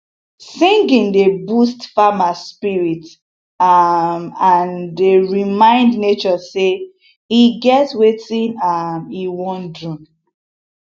singing dey boost farmer spirit um and um dey remind nature say e get wetin e um wan do